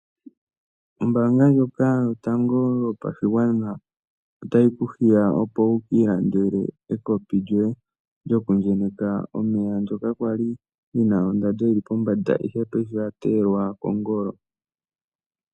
Ombaanga ndjoka yotango yopashigwana otayi ku hiya, opo wu ka ilandele ekopi lyoye lyoku enyeka omeya ndyoka lya li li na ondano yi li pombanda, ihe paife oya teyelwa kongolo.